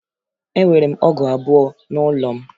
Enwere m ọgụ abụọ n'ụlọ m